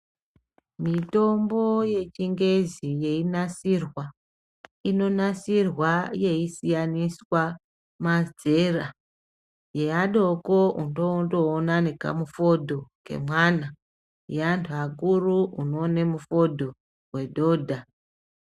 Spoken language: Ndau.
Mitombo yechingezi yechinasirwa inonasirwa yeisiyaniswa mazera yeadoko unondoona nekamufodho kemwana yeanthu vakuru unoone mufodho wedhodha .